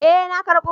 Eh na karbo